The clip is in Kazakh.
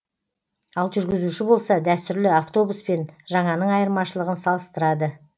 ал жүргізуші болса дәстүрлі автобус пен жаңаның айырмашылығын салыстырады